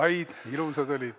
Said, ilusad olid.